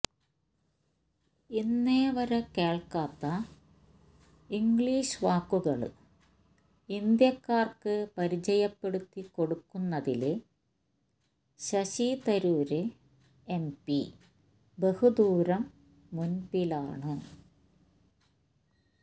ഇന്നേവരെ കേള്ക്കാത്ത ഇംഗ്ലീഷ് വാക്കുകള് ഇന്ത്യക്കാര്ക്ക് പരിചയപ്പെടുത്തി കൊടുക്കുന്നതില് ശശി തരൂര് എംപി ബഹുദൂരം മുന്പിലാണ്